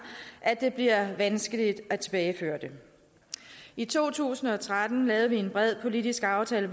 at det bliver vanskeligt at tilbageføre det i to tusind og tretten lavede vi en bred politisk aftale